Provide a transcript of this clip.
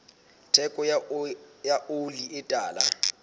theko ya oli e tala